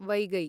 वैगै